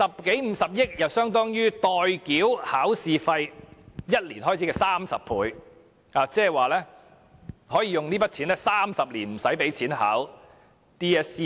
這50億元亦相當於代繳考試費1年開支的30倍，即是說這筆錢足以支付未來30年 DSE 考試的費用。